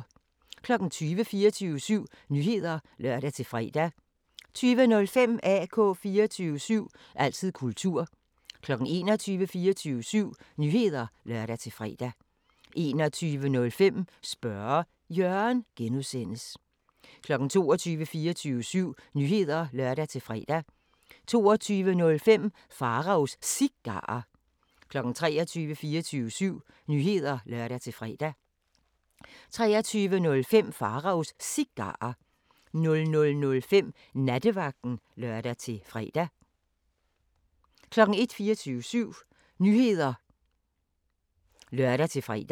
20:00: 24syv Nyheder (lør-fre) 20:05: AK 24syv – altid kultur 21:00: 24syv Nyheder (lør-fre) 21:05: Spørge Jørgen (G) 22:00: 24syv Nyheder (lør-fre) 22:05: Pharaos Cigarer 23:00: 24syv Nyheder (lør-fre) 23:05: Pharaos Cigarer 00:05: Nattevagten (lør-fre) 01:00: 24syv Nyheder (lør-fre)